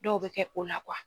Dɔw bɛ kɛ o la